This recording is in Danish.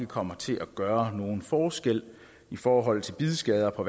kommer til at gøre nogen forskel i forhold til bidskader på